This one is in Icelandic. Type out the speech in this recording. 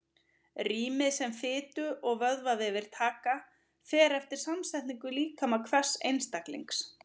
Rýmið sem fitu- og vöðvavefir taka fer eftir samsetningu líkama hvers einstaklings.